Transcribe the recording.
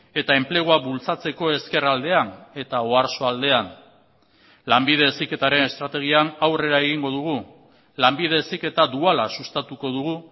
eta enplegua bultzatzeko ezkerraldean eta oarsoaldean lanbide heziketaren estrategian aurrera egingo dugu lanbide heziketa duala sustatuko dugu